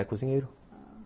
É, cozinheiro, ah...